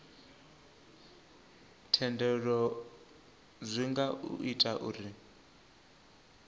thendelo zwi nga ita uri